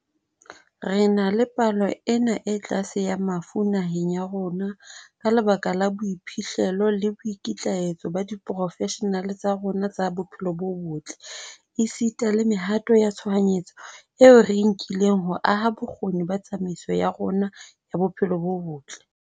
Re na le palo ena e tlase ya mafu naheng ya rona ka lebaka la boiphihlelo le boikitlaetso ba diporofeshenale tsa rona tsa bophelo bo botle, esita le mehato ya tshohanyetso eo re e nkileng ho aha bokgoni ba tsamaiso ya rona ya bophelo bo botle.